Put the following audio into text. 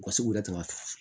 U ka se k'u yɛrɛ tɛmɛ a fɛ